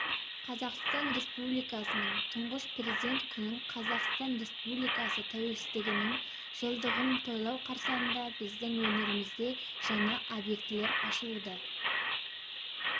қазақстан республикасының тұңғыш президент күнін қазақстан республикасы тәуелсіздігінің жылдығын тойлау қарсаңында біздің өңірімізде жаңа объектілер ашылуда